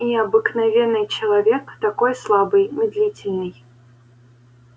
и обыкновенный человек такой слабый медлительный